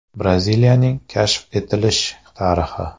Braziliyaning kashf etilish tarixi.